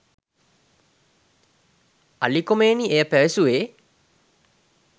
අලි කොමේනි එසේ පැවසුවේ